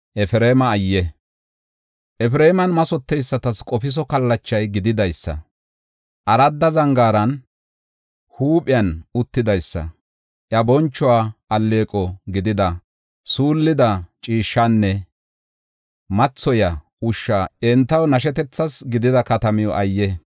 Efreeman mathoteysatas qofiso kallacha gididaysa, aradda zangaara huuphiyan uttidaysa, iya bonchuwas alleeqo gidida shullida ciishshanne mathoyiya ushshay entaw nashetethas gidida katamaa ayye!